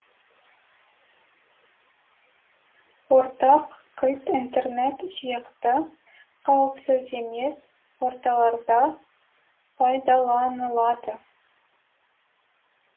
ортақ кілт интернет сияқты қауіпсіз емес орталарда пайдаланылады